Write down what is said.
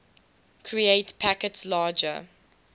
create packets larger